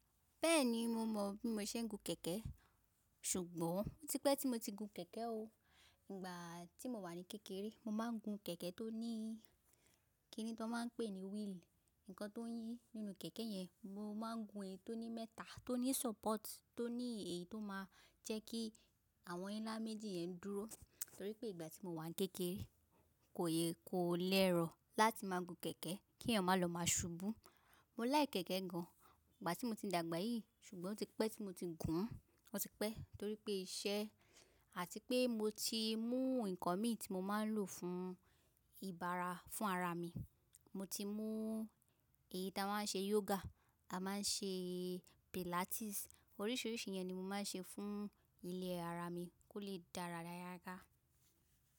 Bẹ́ẹ̀ni, mo mọ̀ bí mo se ń gun kẹ̀kẹ́ ṣùgbọ́n ó ti pẹ́ tí mo ti gun kẹ̀kẹ́ o. Ìgbà tí mo wà ní kékeré mo máa ń gun kẹ̀kẹ́ tó ní kíni tó máa ń pè ní wheel, nǹkan tó ń yí nínú kẹ̀kẹ́ yẹn. Mo máa ń gun èyí tó ní mẹ́ta, tó ní support, tó ní èyí tó máa jẹ́ kí àwọn ńlá méjì yẹn dúró. Torí pé ìgbà tí mo wà ní kékeré kò yẹ kó lẹ́rọ̀ láti máa gun kẹ̀kẹ́ kí èèyàn máa lọ má ṣubú. Mo like kẹ̀kẹ́ gan ìgbà tí mo ti dàgbà yìí ṣùgbọ́n ó ti pẹ́ tí mo ti gùn ún. Ó ti pẹ́ torí pé iṣẹ́ àti pé mo ti mú nǹkan mi tí mo máa ń lò fún ìbára fún ara mi. Mo ti mú èyí tí a máa ń ṣe yoga, a máa ń ṣe pilates oríṣìíríṣìí yẹn ni mo máa ń ṣe fún ilẹ̀ ara mi kó lè dára yaga yága.